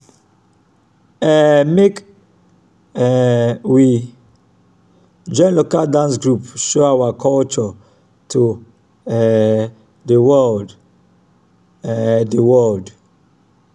um make um we join local dance group show our culture to um di world um di world